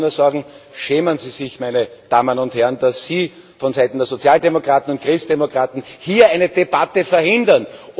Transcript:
Ich kann nur sagen Schämen Sie sich, meine Damen und Herren, dass Sie vonseiten der Sozialdemokraten und Christdemokraten hier eine Debatte verhindern!